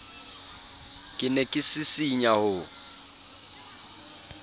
ke ne ke sisinya ho